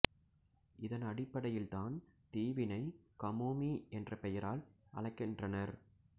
இதன் அடிப்படையில் தான் தீவினை கமோமி என்ற பெயரால் அழைக்கின்றனர்